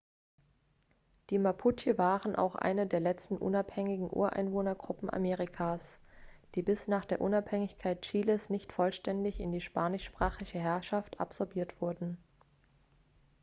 die mapuche waren auch eine der letzten unabhängigen ureinwohnergruppen amerikas die bis nach der unabhängigkeit chiles nicht vollständig in die spanischsprachige herrschaft absorbiert wurden